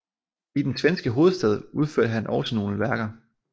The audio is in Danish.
I den svenske hovedstad udførte han også nogle værker